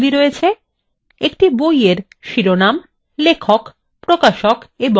একটি বইএর শিরোনাম লেখক প্রকাশক এবং মূল্য আছে